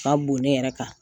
ka bon ne yɛrɛ kan